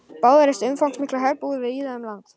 Báðir reistu umfangsmiklar herbúðir víða um land.